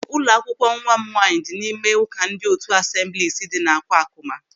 Ụlọ akwụkwọ nwa m nwaanyị dị n'ime ụka ndị otu Asemblis dị N'Akwakụma.